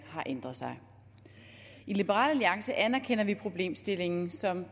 har ændret sig i liberal alliance anerkender vi problemstillingen som